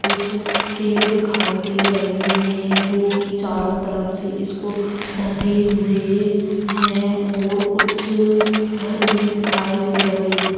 कुछ पेड़ दिखाई दे रहे हैं जो कि चारों तरफ से इसको ढके हुए है और कुछ घर भी दिखाई दे रहे हैं।